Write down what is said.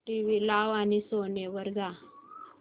TV लाव आणि Sony वर जा